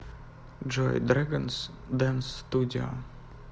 джой дрэганс дэнс студио